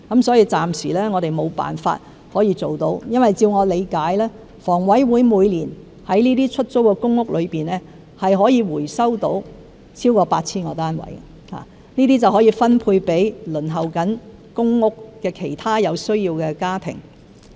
所以，暫時我們無法可以辦到，因為據我理解，香港房屋委員會每年在這些出租公屋中可以回收到超過 8,000 個單位，可以分配給正在輪候公屋的其他有需要的家庭。